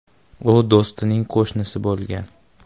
U do‘stining qo‘shnisi bo‘lgan.